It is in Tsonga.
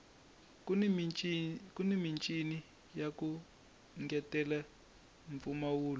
kuni michini yaku ngetelela mpfumawulo